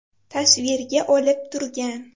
tasvirga olib turgan.